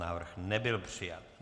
Návrh nebyl přijat.